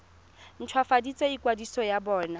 nt hwafatse ikwadiso ya bona